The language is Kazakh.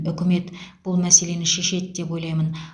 үкімет бұл мәселені шешеді деп ойлаймын